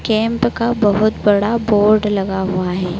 Camp का बहुत बड़ा बोर्ड लगा हुआ है।